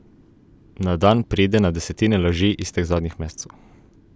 Na dan pride na desetine laži iz teh zadnjih mesecev.